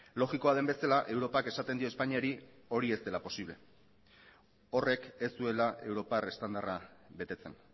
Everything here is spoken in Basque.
logikoa den bezala europak esaten dio espainiari hori ez dela posible horrek ez duela europar estandarra betetzen